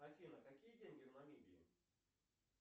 афина какие деньги в намибии